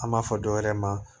An b'a fɔ dɔwɛrɛ ma